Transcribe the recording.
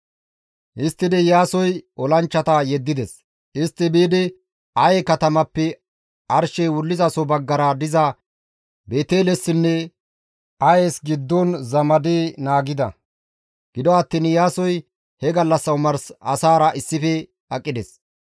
Histtidi Iyaasoy olanchchata yeddides; istti biidi Aye katamappe arshey wullizaso baggara diza Beetelessinne Ayes giddon zamadi naagida; gido attiin Iyaasoy he gallassa omars asaara issife aqides.